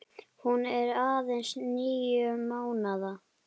Hún er aðeins níu mánaða.